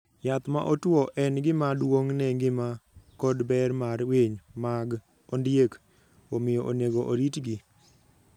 Yath ma otwo en gima duong' ne ngima kod ber mar winy mag ondiek, omiyo onego oritgi